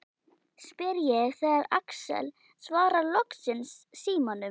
spyr ég þegar Axel svarar loksins símanum.